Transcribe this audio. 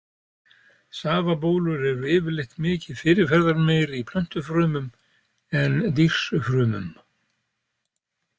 Safabólur eru yfirleitt mikið fyrirferðarmeiri í plöntufrumum en dýrsfrumum.